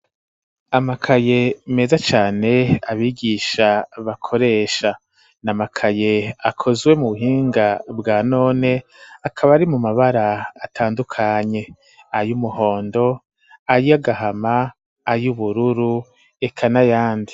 Amakaye meza cane, abigisha bakoresha; ni amakaye akozwe, mu buhinga bwa none, akaba ari mu mabara, atandukanye; ay'umuhondo, ay'agahama, ay'ubururu, eka n'ayandi.